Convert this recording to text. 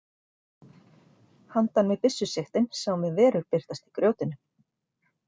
Handan við byssusigtin sáum við verur birtast í grjótinu.